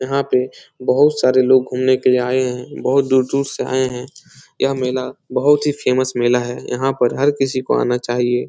यहाँ पे बहुत सारे लोग घूमने के लिए आये हैं बहुत दूर-दूर से आये है यह मेला बहुत ही फेमस मेला है यहाँ पर हर किसी को आना चाहिए ।